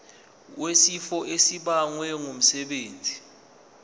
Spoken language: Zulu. wesifo esibagwe ngumsebenzi